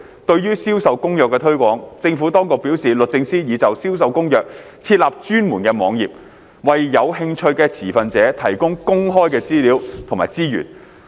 對於《銷售公約》的推廣，政府當局表示律政司已就《銷售公約》設立專門網頁，為有興趣的持份者提供公開的資料和資源。